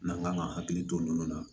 N'an kan ka hakili to minnu na